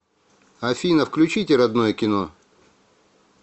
афина включите родное кино